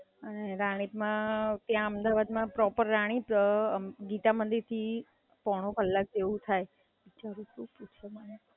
રાણીપ માં ત્યાં અમદાવાદ માં પ્રોપર રાણીપ, ગીતામંદિર થી પોણો કલાક જેવુ થાય.